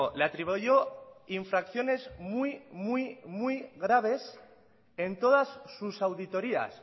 le atribuyó infracciones muy muy muy graves en todas sus auditorías